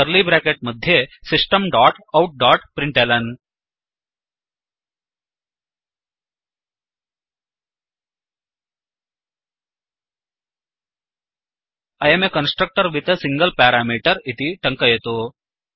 curly bracket मध्ये system dot out dot println I um a constructor with a single parameter इति टङ्कयतु